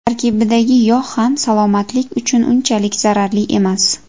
Tarkibidagi yog‘ ham salomatlik uchun unchalik zararli emas.